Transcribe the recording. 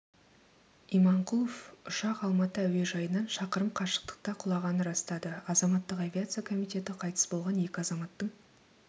иманқұлов ұшақ алматы әуежайынан шақырым қашықтықта құлағанын растады азаматтық авиация комитеті қайтыс болған екі азаматтың